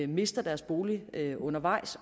mister deres bolig undervejs